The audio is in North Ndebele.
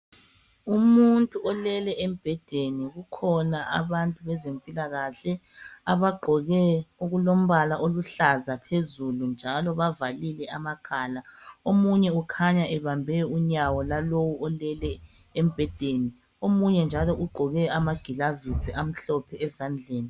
Umuntu olele embhedeni, kukhona abantu bezempilakahle abagqoke okulombala oluhlaza phezulu njalo bavalile amakhala. Omunye ukhanya ebambe unyawo lwalowu oleleyo embhedeni, omunye ugqoke njalo amagilavisi amhlophe ezandleni.